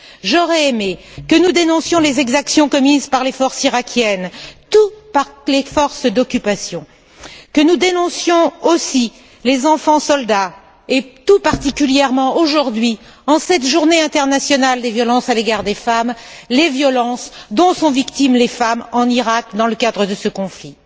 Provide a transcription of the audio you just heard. J'aurais aimé que nous dénoncions les exactions commises par les forces iraquiennes et par les forces d'occupation, que nous dénoncions aussi les enfants soldats et, tout particulièrement aujourd'hui, en cette journée internationale des violences à l'égard des femmes, les violences dont sont victimes les femmes en Iraq, dans le cadre de ce conflit.